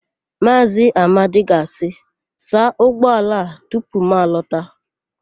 Maazị Amadi ga-asị, "saa ụgbọala a tupu m na-alọta"!